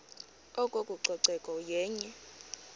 oko ucoceko yenye